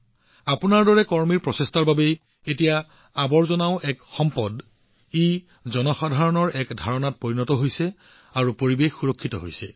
আপোনাৰ দৰে বন্ধুবৰ্গৰ প্ৰচেষ্টাৰ জৰিয়তে আৱৰ্জনাও এতিয়া মানুহৰ মনত এক স্থিৰ সম্পদ হৈ পৰিছে আৰু পৰিৱেশ এতিয়া সুৰক্ষিত হৈ পৰিছে